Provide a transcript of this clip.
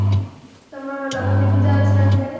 ତମର ଲକ୍ଷ୍ମୀ ପୂଜା ଅଛି ନା ସିଆଡେ